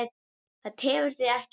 Það tefur þig ekkert.